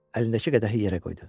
Əlindəki qədəhi yerə qoydu.